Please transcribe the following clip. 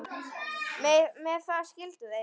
Með það skildu þeir.